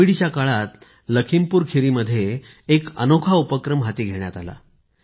कोविडच्या काळात लखीमपुरखिरी मध्ये एक अनोखा उपक्रम हाती घेण्यात आला